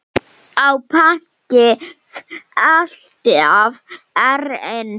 Á pönkið alltaf erindi?